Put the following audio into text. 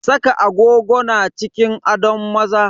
Saka agogo na cikin adon maza.